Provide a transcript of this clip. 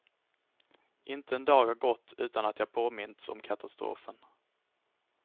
Inte en dag har gått utan att jag påmints om katastrofen.